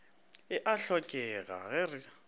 e a hlokega ge re